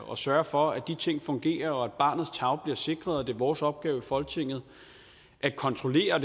og sørge for at de ting fungerer og at barnets tarv bliver sikret og det er vores opgave i folketinget at kontrollere